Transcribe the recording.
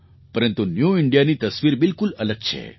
પરંતુ ન્યૂ Indiaની તસવીર બિલકુલ અલગ છે